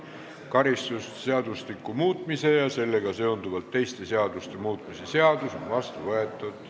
Karistusseadustiku muutmise ja sellega seonduvalt teiste seaduste muutmise seadus on vastu võetud.